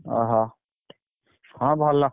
ଓହୋ ହଁ ଭଲ।